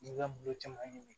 N'i ka muso caman ɲini